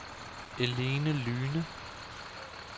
Eline Lyhne